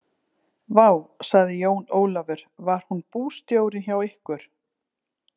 Vá, sagði Jón Ólafur, var hún bústjórinn hjá ykkur?